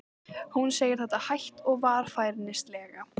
Hún segir þetta hægt og varfærnislega.